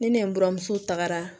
Ni ne buramuso tagara